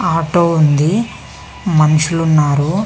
Auto ఉంది. మనుషులు ఉన్నారు.